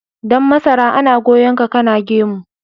Dan masara ana goyon ka kana gemu.